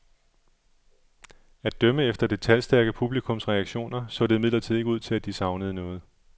At dømme efter det talstærke publikums reaktioner så det imidlertid ikke ud til at de savnede noget.